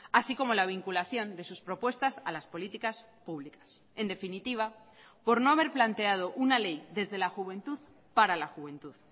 así como la vinculación de sus propuestas a las políticas públicas en definitiva por no haber planteado una ley desde la juventud para la juventud